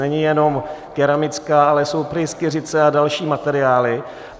Není jenom keramická, ale jsou pryskyřice a další materiály.